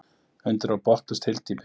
Undir var botnlaust hyldýpi.